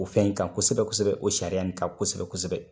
O fɛn in kan kosɛbɛ kosɛbɛ o sariya in kan kosɛbɛ kosɛbɛ.